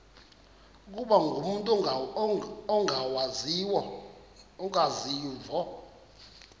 ukuba umut ongawazivo